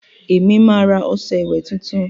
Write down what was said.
èmi má rà ọṣẹ ìwé títún